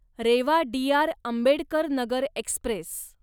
Reva Dr. Ambedkar Nagar Express